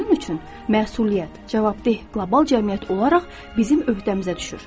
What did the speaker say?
Bunun üçün məsuliyyət, cavabdeh qlobal cəmiyyət olaraq bizim öhdəmizə düşür.